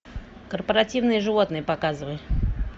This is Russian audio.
корпоративные животные показывай